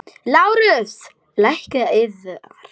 LÁRUS: Lækninn yðar?